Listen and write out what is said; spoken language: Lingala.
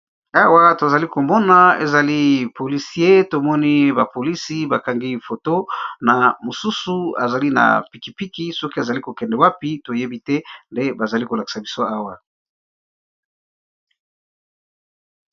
Awa tozali komona ezali polisie tomoni bapolisi bakangi foto na mosusu azali na pikipiki soki azali kokende wapi toyebi te nde bazali kolakisa biso awa.